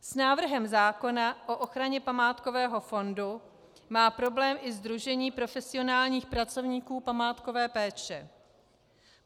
S návrhem zákona o ochraně památkového fondu má problém i Sdružení profesionálních pracovníků památkové péče.